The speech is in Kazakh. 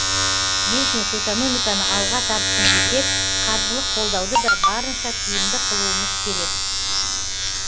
бизнес экономиканы алға тартсын десек қаржылық қолдауды да барынша тиімді қылуымыз керек